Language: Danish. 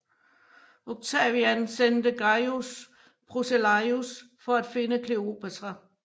Octavian sendte Gaius Proceleius for at finde Kleopatra